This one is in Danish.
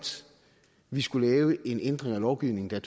vi skal lave en ændring af lovgivningen der